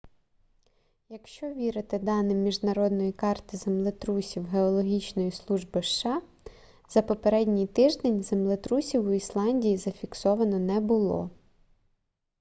якщо вірити даним міжнародної карти землетрусів геологічної служби сша за попередній тиждень землетрусів у ісландії зафіксовано не було